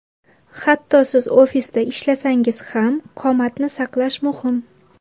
Hatto siz ofisda ishlasangiz ham, qomatni saqlash muhim.